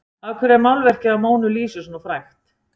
af hverju er málverkið af mónu lísu svona frægt